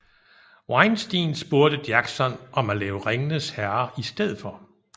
Weinstein spurgte Jackson om at lave Ringenes herre i stedet for